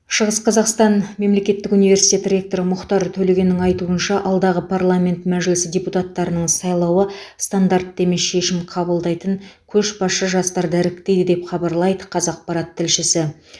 шығыс қазақстан мемлекеттік университеті ректоры мұхтар төлегеннің айтуынша алдағы парламент мәжілісі депутаттарының сайлауы стандартты емес шешім қабылдайтын көшбасшы жастарды іріктейді деп хабарлайды қазақпарат тілшісі